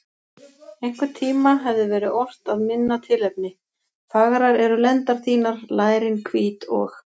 Einhvern tíma hefði verið ort að minna tilefni: Fagrar eru lendar þínar, lærin hvít og.